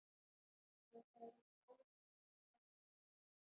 Ég heyrði Sóldísi ræskja sig.